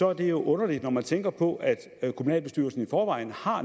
er det jo underligt når man tænker på at kommunalbestyrelsen i forvejen